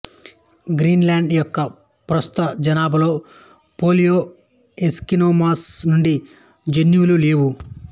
Greenland యొక్క ప్రస్తుత జనాభాలో పాలియోఎస్కిమోస్ నుండి జన్యువులు లేవు